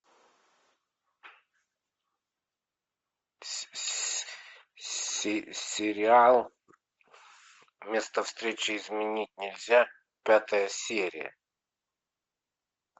сериал место встречи изменить нельзя пятая серия